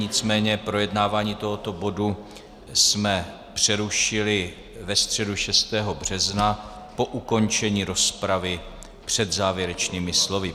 Nicméně projednávání tohoto bodu jsme přerušili ve středu 6. března po ukončení rozpravy před závěrečnými slovy.